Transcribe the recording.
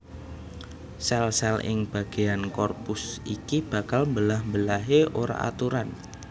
Sèl sèl ing bagéyan korpus iki bakal mbelah mbelahé ora aturan